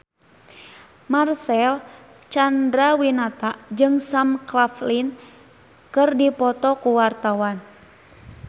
Marcel Chandrawinata jeung Sam Claflin keur dipoto ku wartawan